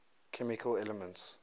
chemical elements